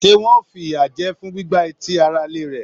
Se wọn o f'iya jẹ fún gbígbà etí ará ilé rẹ?